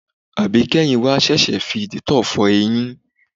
Àbíké̩yìn wa s̩ès̩ì fi dìtó̩ò̩ fo̩ e̩yín.